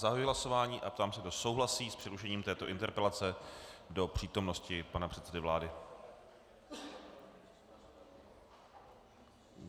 Zahajuji hlasování a ptám se, kdo souhlasí s přerušením této interpelace do přítomnosti pana předsedy vlády?